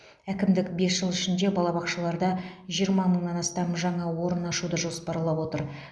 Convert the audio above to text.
әкімдік бес жыл ішінде балабақшаларда жиырма мыңнан астам жаңа орын ашуды жоспарлап отыр